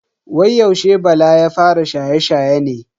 Wai yaushe bala ya fara shaye-shaye ne?